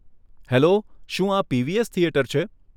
Hello, શું આ PVS theatre છે?